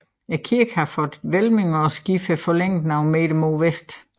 Kirken har fået hvælvinger og skibet er forlænget nogle meter mod vest